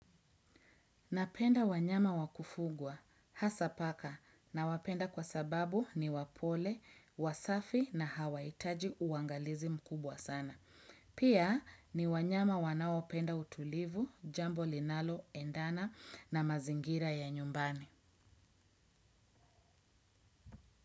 Napenda wanyama wa kufugwa, hasa paka nawapenda kwa sababu ni wapole, wasafi na hawaitaji uangalizi mkubwa sana. Pia ni wanyama wanaopenda utulivu, jambo linaloendana na mazingira ya nyumbani.